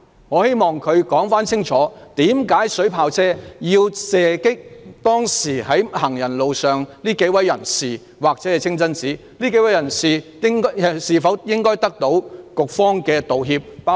我希望局長清楚解釋為甚麼水炮車要射擊清真寺或當時在行人路上的幾位人士。這幾位人士是否應該得到局方的道歉？